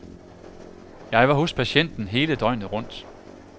Jeg var hos patienten hele døgnet rundt.